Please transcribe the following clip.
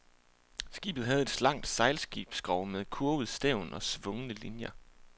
Skibet havde et slankt sejlskibsskrog med kurvet stævn og svungne linier.